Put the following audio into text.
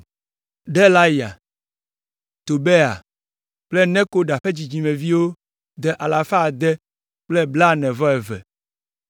Delaya, Tobia kple Nekoda ƒe dzidzimeviwo de ame alafa ade kple blaene-vɔ-eve (642).